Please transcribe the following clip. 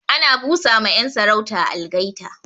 Ana bu sa ma 'yan sarauta algaita